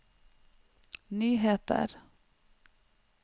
nyheter